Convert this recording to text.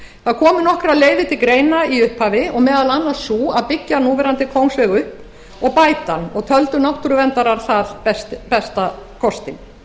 það komu nokkrar leiðir til greina í upphafi og meðal annars sú að byggja núverandi kóngsveg upp og bæta hann og töldu náttúruverndarar það besta kostinn